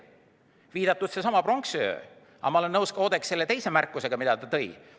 Viidati pronksiööle, aga ma olen nõus ka Oudekki teise märkusega, mis ta tegi.